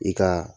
I ka